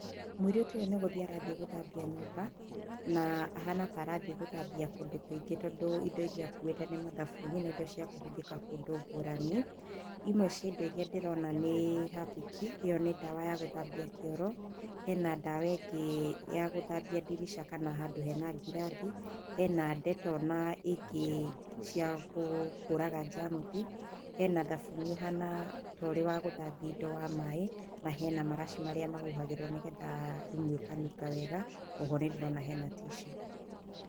Mũirĩtu ũyu nĩ gũthiĩ arathiĩ gũthambia nyũmba na ahana ta arathiĩ gũthambia kũndũ kũingĩ tondũ indo iria akuite ni mathabuni na indo cia kũhũthika kũndũ ngũrani imwe cia indo iria ndĩrona nĩ hapiki, ĩyo nĩ ndawa ya gũthambia kĩoro hena ndawa ingĩ ya gũthambia dirica kana handũ hena ngirathi, hena ndeto na ingĩ cia kũraga jamuthi, hena thabuni ũhana torĩ wa gũthambia indo wa maĩ na hena maraci marĩa mahuhagĩrwo nĩgetha rumu ikanunga wega, oho nĩndĩrona hena tissue